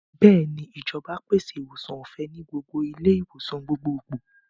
Bẹ́ẹ̀ni, ìjọba pèsè ìwòsàn ọ̀fẹ́ ní gbogbo ilé-ìwòsàn gbogbogbò.